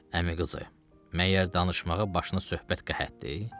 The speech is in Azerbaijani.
Əmi qızı, məyər danışmağa başını söhbət qəhətdir?